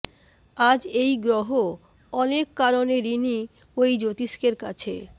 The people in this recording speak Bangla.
আজ এই গ্রহ অনেক কারণে ঋণী ওই জ্যোতিষ্কের কাছে